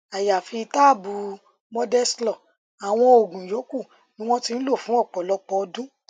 àyàfi táàbù mondeslor àwọn oògùn yòókù ni wọn ti ń lò fún ọpọlọpọ ọdún